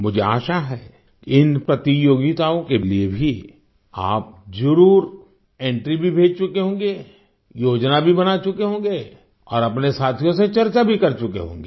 मुझे आशा है कि इन प्रतियोगिताओं के लिए भी आप जरुर एंट्री भी भेज चुके होंगे योजना भी बना चुके होंगे और अपने साथियों से चर्चा भी कर चुके होंगे